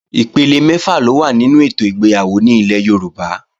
Ipele mẹ́fà ló wà nínú ètò ìgbéyàwó ní ilẹ̀ Yorùbá